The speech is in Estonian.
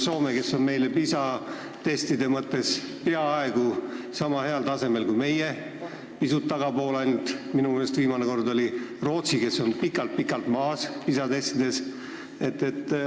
Soome on PISA testides peaaegu sama heal tasemel kui meie, viimane kord oli ta minu meelest ainult pisut tagapool, Rootsi aga on meist pikalt-pikalt maas.